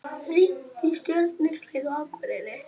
Rýnt í stjörnufræði á Akureyri